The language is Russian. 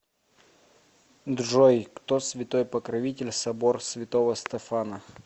джой кто святой покровитель собор святого стефана